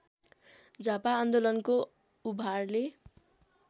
झापा आन्दोलनको उभारले